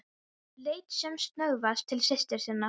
Leit sem snöggvast til systur sinnar.